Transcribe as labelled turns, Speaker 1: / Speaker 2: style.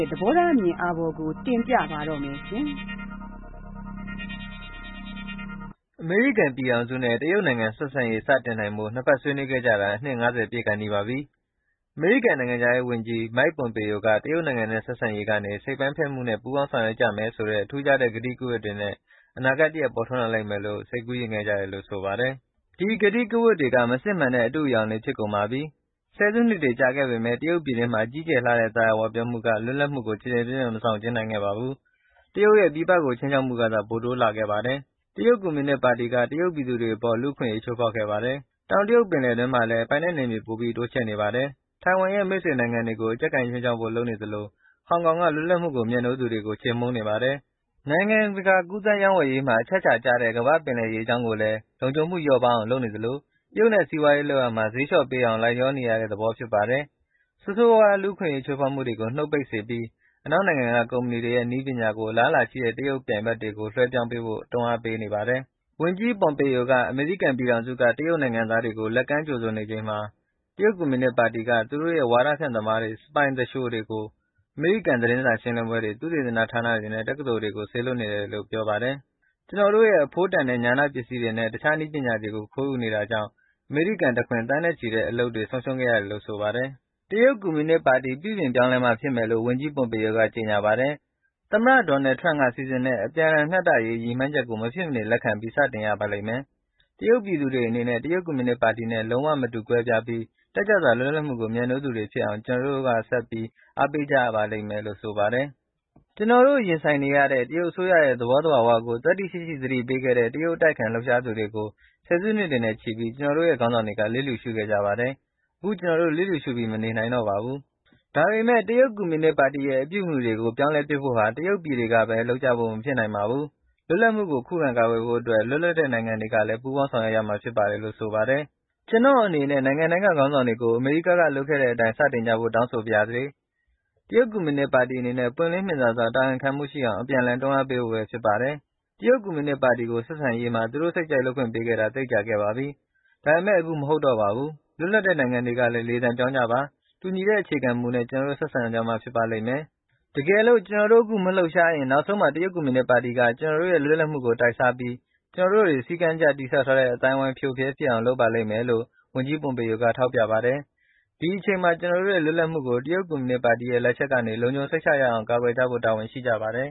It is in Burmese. Speaker 1: ဲ့ သဘောထားအမြင်အာဘော်ကို တင်ပြပါမယ်။ အမေရိကန်ပြည်ထောင်စုနဲ့ တရုတ်နိုင်ငံဆက်ဆံရေး စတင်နိုင်ဖို့ နှစ်ဘက်ဆွေးနွေးခဲ့ကြတာ အနှစ် ၅၀ ပြည့်ကာနီးပါပြီ။ အမေရိကန်နိုင်ငံခြားရေးဝန်ကြီး Mike Pompeo က တရုတ်နိုင်ငံနဲ့ ဆက်ဆံရေးကနေ စိတ်ပိုင်းဖြတ်မှုနဲ့ ပူးပေါင်းဆောင်ရွက်ကြမယ်ဆိုတဲ့ ထူးခြားတဲ့ ကတိကဝတ်တွေနဲ့ အနာဂတ်တရပ်ပေါ်ထွန်းလာလိမ့်မယ်လို့ စိတ်ကူးယဉ်ခဲ့ကြတယ်လို့ ဆိုပါတယ်။ ဒီကတိကဝတ်တွေက မစစ်မှန်တဲ့ အတုတွေဖြစ်ကုန်ပါပြီ။ ၁၀ စုနှစ်တွေကြာခဲ့ပေမဲ့ တရုတ်ပြည်တွင်းမှာ ကြီးကျယ်လှတဲ့ သာယာဝပြောမှုက လွပ်လပ်မှုကို ကျယ်ကျယ်ပြန့်ပြန့် မဆောင်ကျဉ်းနိုင်ခဲ့ပါဘူး။ တရုတ်ရဲ့ ပြည်ပကို ခြိမ်းခြောက်မှုကသာ ပိုတိုးလာခဲ့ပါတယ်။ တရုတ်ကွန်မြူနစ်ပါတီက တရုတ်ပြည်သူတွေအပေါ် လူ့အခွင့်အရေးချိုးဖေါက်ခဲ့ပါတယ်။ တောင်တရုတ်ပင်လယ်တွင်းမှာလည်း ပိုင်နက်နယ်မြေပိုပြီး တိုးချဲ့နေပါတယ်။ထိုင်ဝမ်ရဲ့ မိတ်ဆွေနိုင်ငံတွေကို အကျပ်ကိုင်ခြိမ်းခြောက်ဖို့ လုပ်နေသလို ဟောင်ကောင်က လွတ်လပ်မှုကိုမြတ်နိုးသူတွေကို ချေမှုန်းနေပါတယ်။ နိုင်ငံတကာကူးသန်းရေးဝယ်ရေးမှာ အချက်အခြာကျတဲ့ ကမ္ဘာ့ပင်လယ်ရေကြောင်းကိုလည်း လုံခြုံမှုလျော့ပါးအောင် လုပ်နေသလို တရုတ်နဲ့ စီးပွားရေးလုပ်ရာမှာ ဈေးလျှော့ပေးအောင်လိုက်လျောနေရတဲ့ သဘောဖြစ်နေပါတယ်။ ဆိုးဆိုးဝါးဝါး လူ့အခွင့်အရေးချိုးဖေါက်မှုတွေကိုနုတ်ပိတ်စေပြီး၊ အနောက်နိုင်ငံက ကုမ္မဏီတွေရဲ့ နည်းပညာတွေကို အလားအလာရှိတဲ့ တရုတ်ပြိုင်ဘက်တွေကို လွှဲပြောင်းပေးဖို့ တွန်းအားပေးပေါတယ်။ ဝန်ကြီး Pompeo က အမေရိကန်ပြည်ထောင်စုက တရုတ်နိုင်ငံသားတွေကို လက်ကမ်းကြိုဆို နေချိန်မှာ တရုတ်ကွန်မြူနစ်ပါတီက သူတို့ရဲ့ ဝါဒဖြန့်သမားတွေ၊ စပိုင် သူလျှိုတွေ ကို အမေရိကန်သတင်းစာရှင်းလင်းပွဲတွေ၊ သုတေသနဌာနတွေနဲ့ တက္ကသိုလ်တွေကို စေလွှတ်နေပါတယ်လို့ ပြောပါတယ်။ “ကျနော်တို့ရဲ့ အဖိုးတန်တဲ့ ဉာဏပစ္စည်းတွေနဲ့ တခြား နည်းပညာတွေကို ခိုးယူနေတာကြောင့် အမေရိကန်တခွင် သန်းနဲ့ ချီတဲ့အလုပ်တွေ ဆုံးရှုံးခဲ့ရတယ်” လို့ ဆိုပါတယ်။ တရုတ်ကွန်မြူနစ်ပါတီပြုပြင်ပြောင်းလဲမှဖြစ်မယ်လို့ ဝန်ကြီး Pompeo က ကြေညာပါတယ်။ သမ္မတ Donald Trump စီစဉ်တဲ့ အပြန်လှန်မျှတရေးဆိုတဲ့ ရည်မှန်းချက်ကို မဖြစ်မနေ လက်ခံပြီး စတင်ရပါလိမ့်မယ်။ တရုတ်ပြည်သူတွေအနေနဲ့ တရုတ်ကွန်မြူနစ်ပါတီနဲ့ လုံးဝမတူကွဲပြားပြီး တက်ကြွစွာ လွတ်လပ်မှုကို မြတ်နိုးတဲ့သူတွေဖြစ်အောင် ကျနော်တို့ ဆက်ပြီး အားပေးကြရပါလိမ့်မယ် လို့ ဆိုပါတယ်။ " ကျနော်တို့ ရင်ဆိုင်နေရတဲ့ တရုတ်အစိုးရရဲ့ သဘောသဘာဝကိုသတ္တိရှိရှိသတိပေးခဲ့တဲ့ တရုတ်အတိုက်အခံ လှုပ်ရှားသူတွေကို ၁၀ စုနှစ်တွေနဲ့ချီပြီး ကျနော်တို့ရဲ့ ခေါင်းဆောင်တွေကလျစ်လျုရှုခဲ့ကြပါတယ်။ အခု ကျနော်တို့ လျစ်လျူရှုပြီး မနေနိုင်တော့ပါဘူး။" ဒါပေမဲ့ တရုတ်ကွန်မြုနစ်ပါတီရဲ့ အပြုအမှုတွေကို ပြောင်းလဲဖို့ဟာ တရုတ်ပြည်တွေကဘဲ လုပ်ကြဖို့မဖြစ်နိုင်ပါဘူး။ လွတ်မြောက်မှုကို ခုခံကာကွယ်ဖို့ အတွက် လွတ်လပ်တဲ့နိုင်ငံတွေကလည်း ပူးပေါင်းဆောင်ရွက်ရမှာဖြစ်ပါတယ်လို့ ဆိုပါတယ်။ “ကျနော်အနေနဲ့ နိုင်ငံတိုင်းကခေါင်းဆောင်တွေကို အမေရိကန်က လုပ်ခဲ့တဲ့အတိုင်း စတင်ကြဖို့တောင်းဆိုပါရစေ။တရုတ်ကွန်မြုနစ်ပါတီအနေနဲ့ ပွင့်လင်းမြင်သာစွာ၊ တာဝန်ခံမှုရှိအောင် အပြန်အလှန်တွန်းအားပေးဖို့ဘဲဖြစ်ပါတယ်။ တရုတ်ကွန်မြူနစ်ပါတီကို ဆက်ဆံရေးမှာ သူတို့စိတ်ကြိုက်လုပ်ခွင့်ပေးခဲ့တာ သိပ်ကြာခဲ့ပါပြီ။ ဒါပေမဲ့ အခုမဟုတ်တော့ပါဘူး။ လွတ်လပ်တဲ့နိုင်ငံတွေကလည်း လေသံပြောင်းကြပါ။ တူညီတဲ့အခြေခံ မူနဲ့ ကျနော်တို့ ဆက်ဆံကြမှ ဖြစ်ပါလိမ့်မယ်။ တကယ်လို့ ကျနော်တို့အခု မလှုပ်ရှားရင်၊ နောက်ဆုံးမှာ တရုတ်ကွန်မြူနစ်ပါတီက ကျနော်တို့ရဲ့ လွတ်လပ်မှုကို တိုက်စားပြီး၊ ကျနော်တို့ တွေ စည်းကမ်းတကျတည်ဆောက်ထားတဲ့ အသိုင်းအဝိုင်း ဖရိုဖရဲဖြစ်အောင်လုပ်ပါလိမ့်မယ်” “ဒီအချိန်မှာ ကျနော်တို့ရဲ့ လွတ်လပ်မှုကို တရုတ်ကွန်မြူနစ်ပါတီရဲ့ လက်ချက်ကနေ လုံခြုံစိတ်ချရအောင်ကာကွယ်ကြဖို့တာဝန်ရှိကြပါတယ်